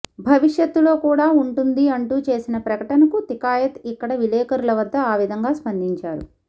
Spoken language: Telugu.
భవిష్యత్తులో కూడా ఉంటుంది అంటూ చేసిన ప్రకటనకు తికాయత్ ఇక్కడ విలేకరుల వద్ద ఆ విధంగా స్పందించారు